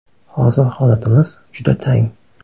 Hozir holatimiz juda tang.